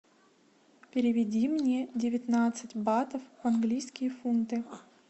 переведи мне девятнадцать батов в английские фунты